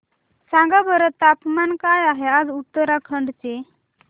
सांगा बरं तापमान काय आहे आज उत्तराखंड चे